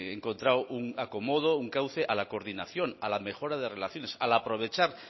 encontrado un acomodo un cauce a la coordinación a la mejora de relaciones al aprovechar